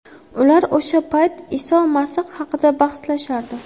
Ular o‘sha payt Iso Masih haqida bahslashardi.